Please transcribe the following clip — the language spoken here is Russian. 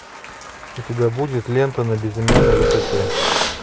у тебя будет лента на безымянной высоте